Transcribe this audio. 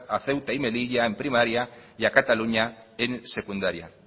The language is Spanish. a ceuta y melilla en primaria y a cataluña en secundaria